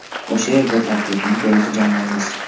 O‘sha yerda tarkibni to‘liq jamlaymiz.